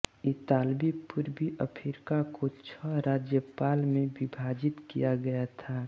इतालवी पूर्वी अफ्रीका को छह राज्यपाल में विभाजित किया गया था